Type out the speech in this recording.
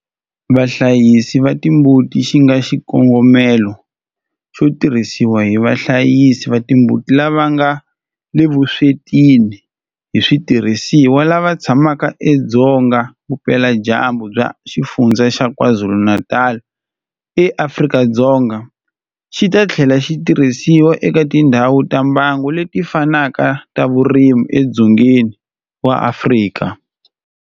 Vahlayisi va timbuti xi nga na xikongomelo xo tirhisiwa hi vahlayisi va timbuti lava nga le vuswetini hi switirhisiwa lava tshamaka edzonga vupeladyambu bya Xifundzha xa KwaZulu-Natal eAfrika-Dzonga, xi ta tlhela xi tirhisiwa eka tindhawu ta mbango leti fanaka ta vurimi edzongeni wa Afrika.